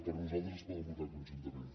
per a nosaltres es poden votar conjuntament